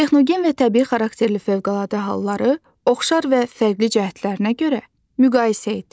Texnogen və təbii xarakterli fövqəladə halları oxşar və fərqli cəhətlərinə görə müqayisə et.